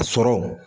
Sɔrɔ